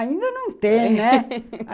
ainda não tem, né?